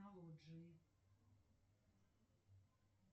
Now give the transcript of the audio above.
сбер кем работает рафаловский